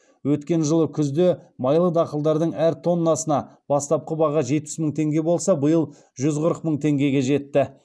өткен жылы күзде майлы дақылдардың әр тоннасына бастапқы баға жетпіс мың теңге болса биыл жүз қырық мың теңгеге жетті